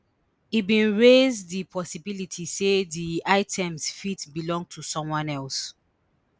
e bin raise di possibility say di items fit belong to someone else